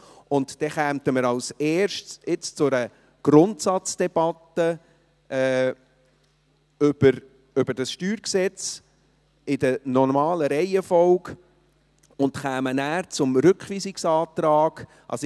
Nun kämen wir als Erstes zu einer Grundsatzdebatte über dieses StG, in der normalen Reihenfolge, und würden anschliessend zum Rückweisungsantrag kommen.